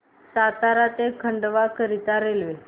सातारा ते खंडवा करीता रेल्वे